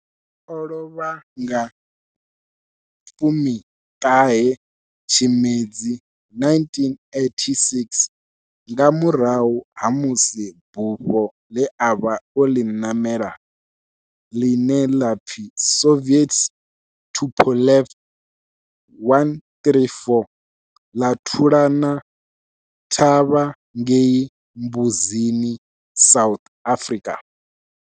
O lovha nga 19 Tshimedzi 1986 nga murahu ha musi bufho le a vha o li namela, line la pfi Soviet Tupolev 134 la thulana thavha ngei Mbuzini, South Africa.